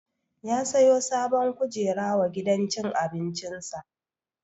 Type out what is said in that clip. Ya siyo sabon kujera wa gidan cin abincin sa